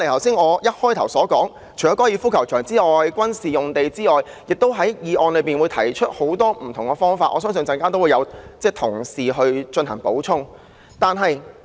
除了高爾夫球場及軍事用地外，涂謹申議員的議案亦提出很多不同的方法，相信稍後會有同事加以補充。